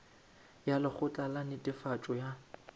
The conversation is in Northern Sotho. ya lekgotla la netefatšo ya